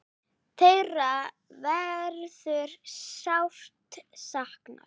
Þeirra verður sárt saknað.